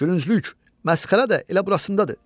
Gülünclük, məsxərə də elə burasındadır.